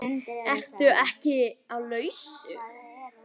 Ertu ekki laus?